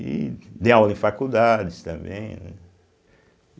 E dei aula em faculdades também, né.